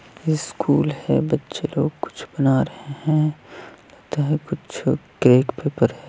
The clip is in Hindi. स्कूल है बच्चे लोग कुछ बना रहे है लगता है कुछ केक पेपर है।